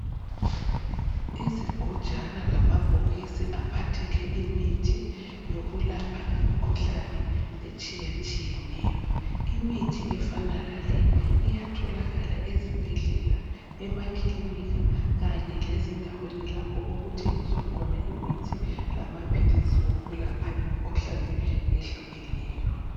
Izigujana lamabhokisi aphathele imithi yokulapha imikhuhlane etshiyatshiyeneyo. Imithi efana lale iyatholakala ezibhedlela, emakilinika kanye lezindaweni lapho okuthengiswa khona imithi lamaphilisi okulapha imkhuhlane ehlukileyo.